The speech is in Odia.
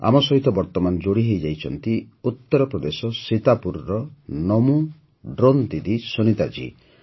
ଆମ ସହିତ ବର୍ତ୍ତମାନ ଯୋଡ଼ିହୋଇଛନ୍ତି ଉତ୍ତରପ୍ରଦେଶ ସୀତାପୁରର ନମୋ ଡ୍ରୋନ୍ ଦିଦି ସୁନିତା ଜୀ